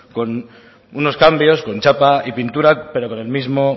con unos cambios con chapa y pintura pero con el mismo